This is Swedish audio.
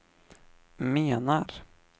menar